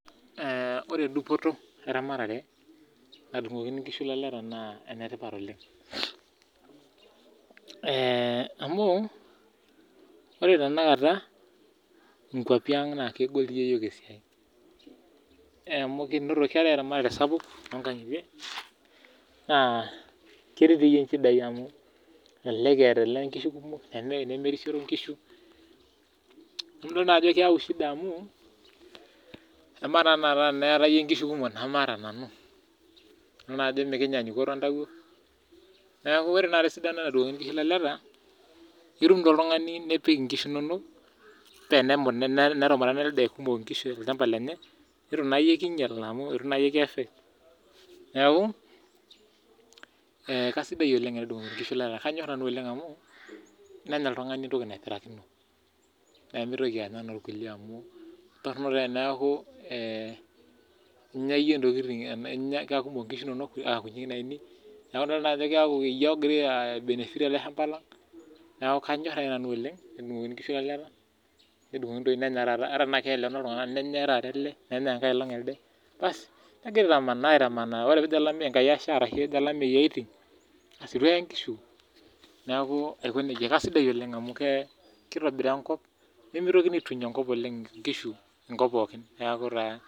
Ee ore dupoto eramatare nadumgokini nkishu laleta na enetipat oleng ee amu ore tanakata nkwapi aang na legol iyok esiai amu keetae eramatare sapuk tonkangitie naa ketii nchidai amu elelek eeta ele idol ajo keyau shida amu amaa tanakata iyie teniata nkishu kumok namaata nanu idol ajo mekinyanyuko entawuo ore endungoto onkishu laleta naaitum oltungani enipik onkishu inonok peyieitu naayie kinyal itu ki affect neaku kasidai oleng enedungokini nkishu laleta nenya oltungani entoki naipirakino pemitoki anya enorkulie amu ketoronok eneaku kekumok nkishu inonok namaata nanu neaku iyie ogira ai benefit tolchambai lang neaku kanyor nanu oleng basi negira asha olameyu aiting ituee nkishu na kesidai oleng amu mitoki nkishu aituny enkop pooki neaku taa